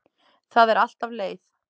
Það er alltaf leið.